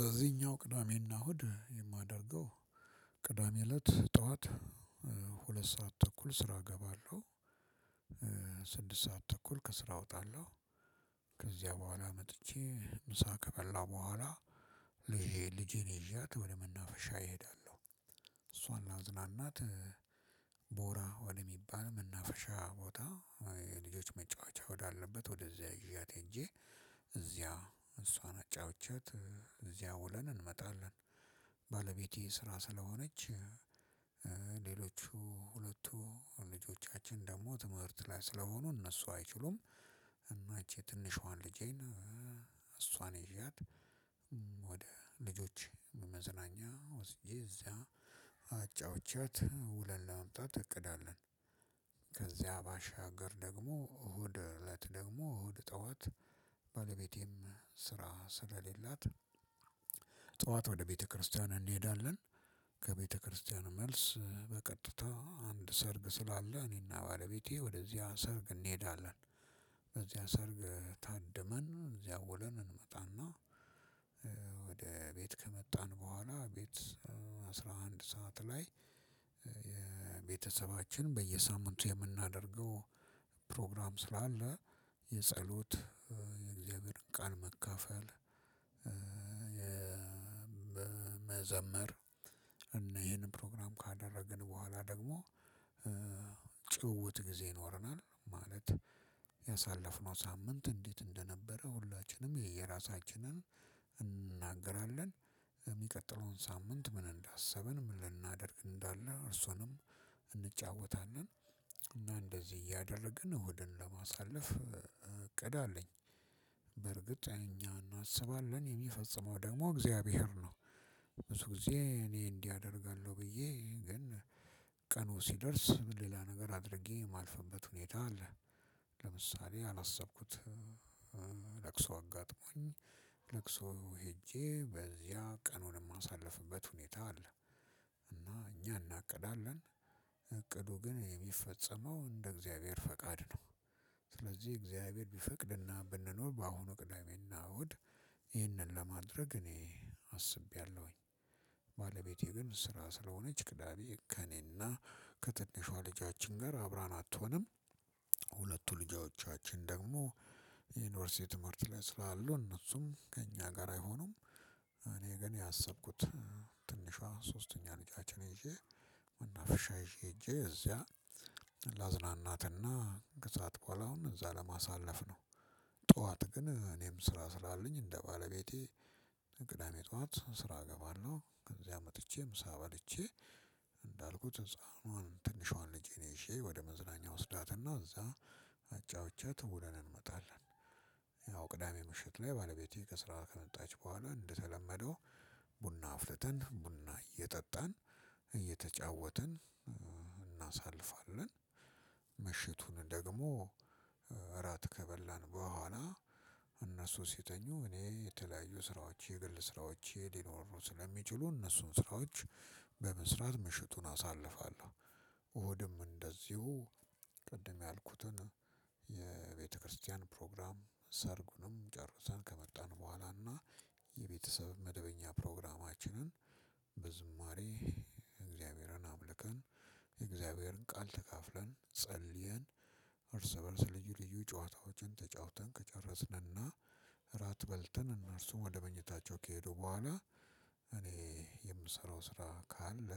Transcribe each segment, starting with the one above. በዚህኛው ቅዳሜ እና እሁድ የማደርገው ቅዳሜ ለት ጥዎት ሁለት ሰዓት ተኩል ስራ እገባለሁ። ስድስት ሰዓት ተኩል ከስራ እወጣለሁ። ከዚያ በኋላ መጥቼ ምሳ ከበላሁ በኋላ ልጄ ልጄን ይዣት ወደ መናፈሻ እሄዳለሁ። ላዝናናት ቦራ ወደሚባል መናፈሻ ቦታ የልጆች መጫወቻ ወደ አለበት ወደ እዚያ ያዣት ሂጅ እዚያ እሷን አጫውቻት ከዚያ ውለን እንመጣለን። ባለቤቴ ስራ ስለሆነች። ሌሎቹ ሁለቱ ልጆቻችን ደግሞ ትምህርት ላይ ስለሆኑ እነሱ አይችሉም። እና እች ትንሿን ልጄን እሷን ይዣት ወደ ልጆች መዝናኛ ወስጄ እዛ አጫውቻት ውለን ለመምጣት እቅድ አለን። ከዚያ ባሻገር ደግሞ እሁድ እለት ደግሞ እሁድ ጠዋት ባለቤቴም ስራ ስለሌላት ጠዋት ወደ ቤተክርስቲያን እንሄዳለን። ከቤተክርስቲያን መልስ በቀጥታ አንድ ሰርግ ስላለ እኔ እና ባለቤቴ ወደዚያ ሰርግ እንሄዳለን። በዚያ ሰርግ ታድመን እዚያ ውለን እንመጣና። ወደቤት ከመጣን በኋላ ቤት አስራ አንድ ሰዓት ላይ የቤተሰባችን በየሳምንቱ የምናደርገው ፕሮግራም ስላለ የፀሎት የእግዚአብሔርን ቃል መካፈል። የመዘመር እነ ይሄንን ፕሮግራም ካደረግን በኋላ ደግሞ ጊዜ ይኖረናል ማለት ያሳለፍነው ሳምንት እንዴት እንደነበረ ሁላችንም የየራሳችንን እንናገራለን። የሚቀጥለውን ሳምንት ምን እንዳሰብን ምን ልናደርግ እንዳለ እሱንም እንጫወታለን። እና እንደዚህ እያደረግን እሁድን ለማሳለፍ እቅድ አለኝ። በርግጥ እኛ እናስባለን የሚፈጽመው ደግሞ እግዚአብሔር ነው። ብዙ ጊዜ እኔ እንዲህ አደርጋለሁ ብዬ ግን ቀኑ ሲደርስ ሌላ ነገር አድርጌ የማልፍበት ሁኔታ አለ። ለምሳሌ አላሰብኩት ለቅሶ አጋጥሞኝ ለቅሶ ሄጄ በዚያ ቀኑን የማሳልፍበት ሁኔታ አለ። እና እኛ እናቅዳለን። እቅዱ ግን የሚፈጸመው እንደ እግዚአብሔር ፈቃድ ነው። ስለዚህ እግዚአብሔር ቢፈቅድና ብንኖር በአሁኑ ቅደሜና እሁድ ይህንን ለማድረግ እኔ አስቤያለሁኝ። ባለቤቴ ግን ስራ ስለሆነች ቅዳሜ ከእኔና ከትንሿ ልጃችን ጋር አብራን አትሆንም። ሁለቱ ልጃዎቻችን ደግሞ የዩኒቨርሲቲ ትምህርት ላይ ስላሉ እነሱም ከእኛ ጋር አይሆኑም እኔ ግን ያሰብኩት። ትንሿ ሶስተኛ ልጃችን ይዤ መናፈሻ ይዤ ሂጄ እዚያ ላዝናናት እና ከሰአት በኋላ አሁን እዛ ለማሳለፍ ነው። ጠዋት ግን እኔም ስራ ስላለኝ እንደ ባለቤቴ ቅዳሜ ጠዋት ስራ እገባለሁ ከዚያ መጥቼ ምሳ በልቼ። እንዳልኩት ህፃኗን ትንሿን ልጄ እኔ ይዤ ወደ መዝናኛ ወስዳትና እዛ አጫውቻት ውለን እንመጣለን። ያው ቅዳሜ ምሽት ላይ ባለቤቴ ከስራ ከመጣች በኋላ እንደተለመደው ቡና አፍልተን ቡና እየጠጣን እየተጫወትን እናሳልፋለን። ምሽቱን ደግሞ እራት ከበላን በኋላ እነሱ ሲተኙ እኔ የተለያዩ ስራዎች የግል ስራዎች ሊኖሩ ስለሚችሉ እነሱን ስራዎች በመስራት ምሽቱን አሳልፋለሁ። እሁድም እንደዚሁ ቅድም ያልኩትን የቤተ ክርስቲያን ፕሮግራም ሰርጉንም ጨርሰን ከመጣን በኋላ እና የቤተሰብን መደበኛ ፕሮግራምችንን በዝማሬ እግዚአብሔር አ አምልከን የእግዚአብሔርን ቃል ተካፍለን ጸልየን። እርስ በእርስ ልዩ ልዩ ጨዋታዎችን ተጫውተን ከጨረስንና እራት በልተን እነርሱም ወደ መኝታቸው ከሄዱ በኋላ እኔ የምሰራው ስራ ካለ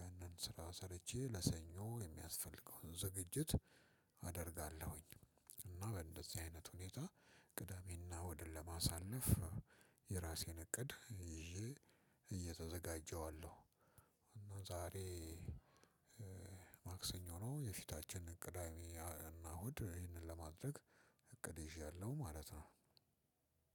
ያንን ስራ ሰርቼ ለሰኞ የሚያስፈልገውን ዝግጅት አደርጋለሁኝ። እና በእንደዚህ አይነት ሁኔታ ቅዳሜ እና እሁድን ለማሳለፍ የራሴን እቅድ ይዤ እየተዘጋጀሁ አለሁ። ዛሬ ማክሰኞ ነው የፊታችን ቅዳሜ እና እሁድ ይህንን ለማድረግ እቅዴ ይዣለሁ ማለት ነው።